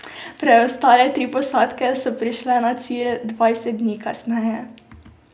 Preostale tri posadke so prišle na cilj dvajset dni kasneje.